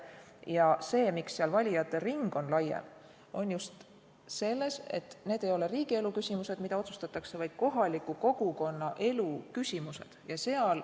Põhjus, miks seal valijate ring on laiem, on just see, et need ei ole riigielu küsimused, mida otsustatakse, vaid kohaliku kogukonna elu küsimused.